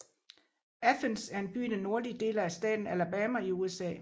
Athens er en by i den nordlige del af staten Alabama i USA